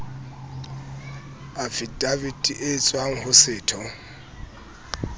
afidavite e tswang ho setho